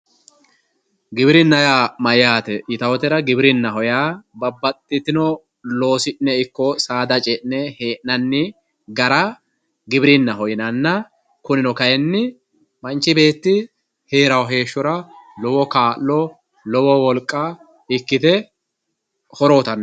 Giwirinna yaa mayyaate yitayotera, giwirionnaho yaa babbxxitino loosi'ne ikko saada ce'ne hee'nanni gara giwirinnaho yinanna kunino kayinni manchi beetti heerayo heeshshora lowo kaa'lo lowo wolqa ikkite horo uyitanno.